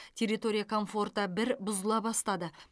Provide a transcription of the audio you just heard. территория комфорта бір бұзыла бастады